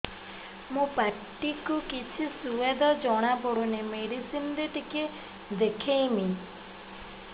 ମୋ ପାଟି କୁ କିଛି ସୁଆଦ ଜଣାପଡ଼ୁନି ମେଡିସିନ ରେ ଟିକେ ଦେଖେଇମି